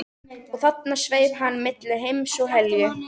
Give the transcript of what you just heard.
Og þarna sveif hann milli heims og helju